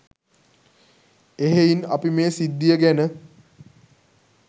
එහෙයින් අපි මේ සිද්ධිය ගැන